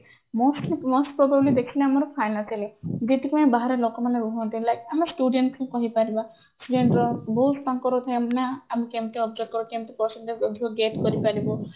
mostly most probably ଦେଖିଲେ ଆମର financially ଯୋଉଥି ପାଇଁ ବାହାରେ ଲୋକମାନେ ରୁହନ୍ତି ଆମେ student ବି କହିପାରିବା ବହୁତ ତାଙ୍କର ଥାଆନ୍ତି ନା ଆମେ କେମତି observe କରିବୁ କେମିତି percent ଟାକୁ ଅଧିକ get କରିପାରିବୁ